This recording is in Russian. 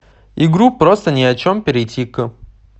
игру просто ни о чем перейти к